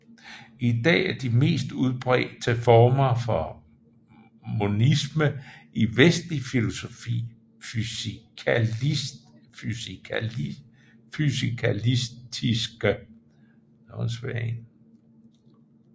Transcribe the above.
I dag er de mest udbredte former for monisme i vestlig filosofi fysikalistiske